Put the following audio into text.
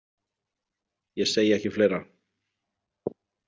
Ég segi ekki fleira.